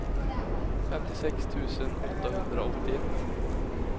femtiosex tusen åttahundraåttioett